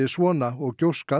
svona og